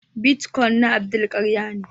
" Bitcoin na Abdul karya ne.